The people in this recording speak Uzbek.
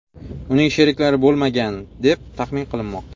Uning sheriklari bo‘lmagan, deb taxmin qilinmoqda.